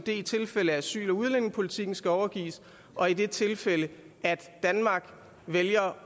i tilfælde af at asyl og udlændingepolitikken skal overgives og i det tilfælde danmark vælger